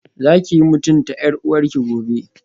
Zakiyi mutunta yar uwarki gobe